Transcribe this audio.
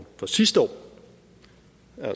er